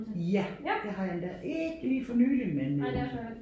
Ja det har jeg endda ikke lige for nyligt men øh